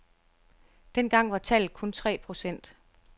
Dengang var tallet kun tre procent.